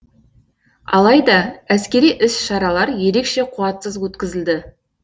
алайда әскери іс шаралар ерекше қуатсыз өткізілді